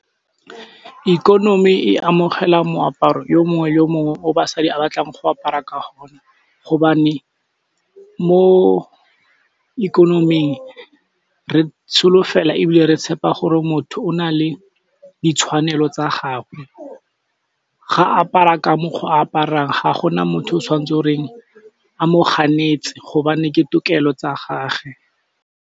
Ikonomi e amogela moaparo yo mongwe yo mongwe o basadi a batlang go apara ka ona hobane mo ikonoming re tsholofelo ebile re tshepa gore motho o na le ditshwanelo tsa gagwe, ga apara ka mokgo a aparang ga gona motho o tshwantse goreng a mo ganetse hobane ke tokelo tsa gage.